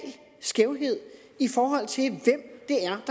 skævhed i forhold til de